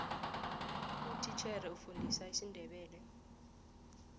utitjhere ufundisa isindebele